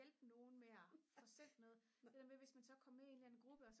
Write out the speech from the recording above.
hjælpe nogen med at få sendt noget det der med at hvis man så kom med i en eller anden gruppe og